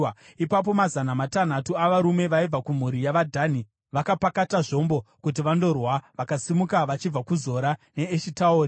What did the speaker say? Ipapo mazana matanhatu avarume vaibva kumhuri yavaDhani vakapakata zvombo kuti vandorwa, vakasimuka vachibva kuZora neEshitaori.